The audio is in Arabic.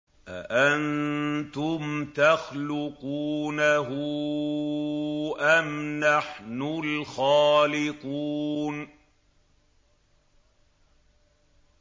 أَأَنتُمْ تَخْلُقُونَهُ أَمْ نَحْنُ الْخَالِقُونَ